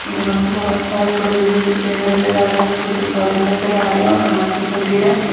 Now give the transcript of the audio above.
यहां पर बहुत सारे बड़े बड़े पेड़ से नज़र आ रहे है छोटे पौधे नज़र आ रहे है और घास दिखाई दे रहा है।